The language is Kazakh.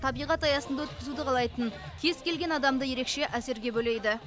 табиғат аясында өткізуді қалайтын кез келген адамды ерекше